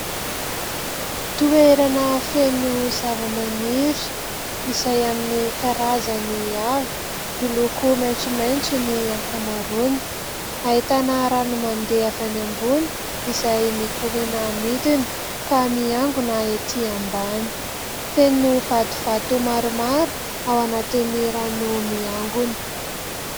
Toerana feno zavamaniry izay amin'ny karazany avy miloko maitsomaitso ny ankamaroany. Ahitana rano mandeha avy any ambony izay mikoriana midina ka miangona ety ambany ; feno vatovato maromaro ao anatin'ny rano miangona.